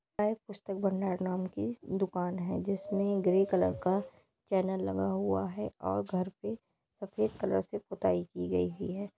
पुस्तक भंडार नाम की दुकान है जिसमे ग्रे कलर का चैनल लगा हुआ है और घर पे सफेद कलर से पुताई की गई ही-है।